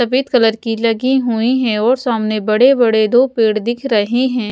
सफेद कलर की लगी हुई है और सामने बड़े बड़े दो पेड़ दिख रहे हैं।